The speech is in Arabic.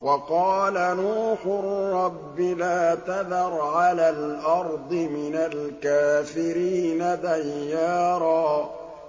وَقَالَ نُوحٌ رَّبِّ لَا تَذَرْ عَلَى الْأَرْضِ مِنَ الْكَافِرِينَ دَيَّارًا